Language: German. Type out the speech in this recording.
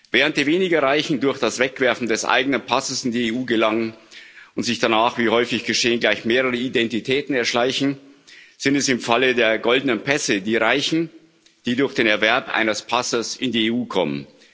Während die weniger Reichen durch das Wegwerfen des eigenen Passes in die EU gelangen und sich danach, wie häufig geschehen, gleich mehrere Identitäten erschleichen, sind es im Falle der goldenen Pässe die Reichen, die durch den Erwerb eines Passes in die EU kommen.